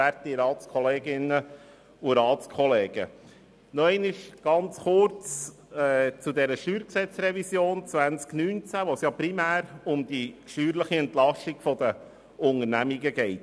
Nochmals kurz zur StG-Revision 2019, in welcher es primär um die steuerliche Entlastung von Unternehmen geht.